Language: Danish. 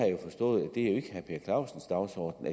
jo forstået ikke er herre per clausens dagsorden